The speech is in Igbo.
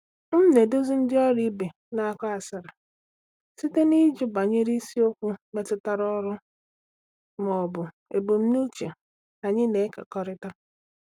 M na-eduzi ndị ọrụ ibe na-akọ asịrị site n’ịjụ banyere isiokwu metụtara ọrụ ma ọ bụ ebumnuche anyị na-ekekọrịta.